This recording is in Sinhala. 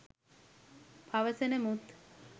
පවසන මුත්